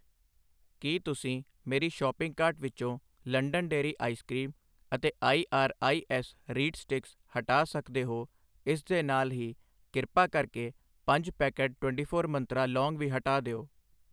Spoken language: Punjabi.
ਕੀ ਤੁਸੀਂ ਮੇਰੀ ਸ਼ਾਪਿੰਗ ਕਾਰਟ ਵਿੱਚੋਂ ਲੰਡਨ ਡੇਅਰੀ ਆਇਸ ਕਰੀਮ ਅਤੇ I R I S reed sticks ਹਟਾ ਸਕਦੇ ਹੋ ਇਸ ਦੇ ਨਾਲ ਹੀ ਕ੍ਰਿਪਾ ਕਰਕੇ ਪੰਜ ਪੈਕੇਟ 24 ਮੰਤਰਾ ਲੌਂਗ ਵੀ ਹਟਾ ਦਿਓ